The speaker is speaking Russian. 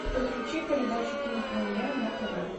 подключи передачу кинопремьера на тв